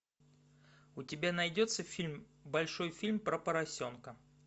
у тебя найдется фильм большой фильм про поросенка